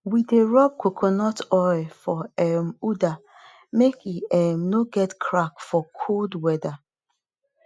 we dey rub coconut oil for um udder make e um nor get crack for cold weather